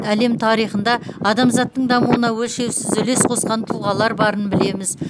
әлем тарихында адамзаттың дамуына өлшеусіз үлес қосқан тұлғалар барын білеміз